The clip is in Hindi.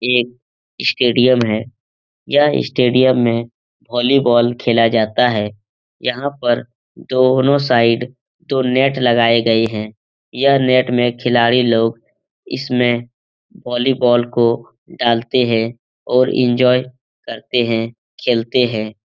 एक स्टेडियम है। यह स्टेडियम में वोलीबोल खेला जाता है। यहाँ पर दोनों साइड दो नेट लगाए गए हैं। यह नेट में खिलाडी लोग इसमें वॉलीबॉल को डालते हैं और एन्जॉय करते हैं खेलते हैं।